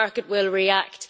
the market will react'.